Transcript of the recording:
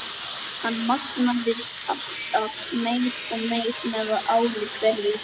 Hann magnaðist alltaf meir og meir með ári hverju.